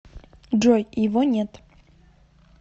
джой его нет